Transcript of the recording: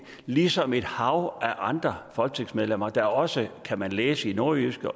ligesom et hav af andre folketingsmedlemmer der også kan man læse i nordjyske